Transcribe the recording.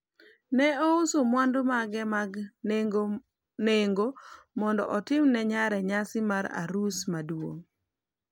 ne ouso mwandu mage mag nengo mondo otim ne nyare nyasi mar arus maduong'